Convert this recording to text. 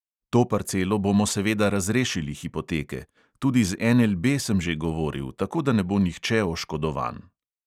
To parcelo bomo seveda razrešili hipoteke, tudi z NLB sem že govoril, tako da ne bo nihče oškodovan.